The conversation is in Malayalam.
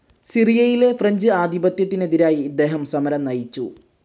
സിറിയയിലെ ഫ്രഞ്ച്‌ ആധിപത്യത്തിനെതിരായി ഇദ്ദേഹം സമരം നയിച്ചു.